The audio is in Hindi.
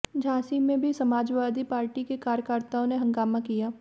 झांसी में भी समाजवादी पार्टी के कार्यकर्ताओं ने हंगामा किया